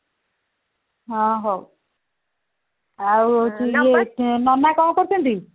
ହଁ ହଉ ଆଉ ହଉଛି ନନା କଣ କରୁଛନ୍ତି